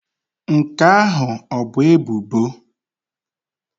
Nke ahụ ọ bụ ebubo?